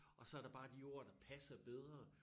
Og så der bare de ord der passer bedre